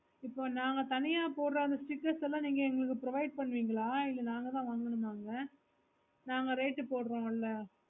இப்போ நாங்க தனியா போட்ட்ற அந்த stickers எல்லாம் நீங்க எங்களுக்கு provide பண்ணுவிங்கள இல்ல நாங்கதான் வாங்குனோமா அத நாங்க rate போடுறோம்ல